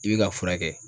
I bɛ ka furakɛ